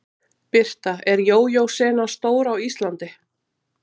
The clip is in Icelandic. Birta: Er jójó senan stór á Íslandi?